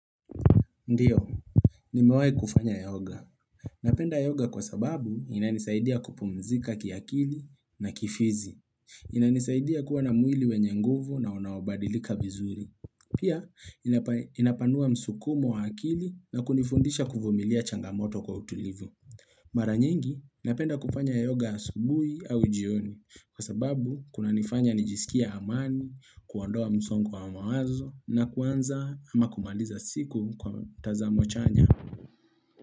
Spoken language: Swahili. Ndiyo, nimewai kufanya yoga. Napenda yoga kwa sababu inanisaidia kupumzika kiakili na kifizi. Inanisaidia kuwa na mwili wenye nguvu na unaobadilika vizuri. Pia, inapanua msukumu wa akili na kunifundisha kuvumilia changamoto kwa utulivu. Mara nyingi napenda kufanya yoga asubuhi au jioni kwa sababu kuna nifanya nijisikie amani, kuandoa msongo wa mawazo na kuanza ama kumaliza siku kwa tazamo chanya.